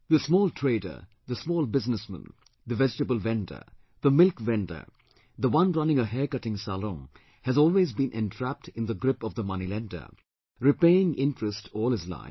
The small trader, the small businessman, the vegetable vendor, the milk vendor, the one running a hair cutting salon has always been entrapped in the grip of the money lender, repaying interest all his life